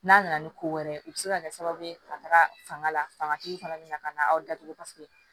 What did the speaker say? N'a nana ni ko wɛrɛ ye o be se ka kɛ sababu ye ka taga fanga la fangatigi fana bɛna ka na aw datugu paseke